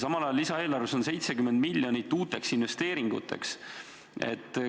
Samal ajal on lisaeelarves 70 miljonit uuteks investeeringuteks.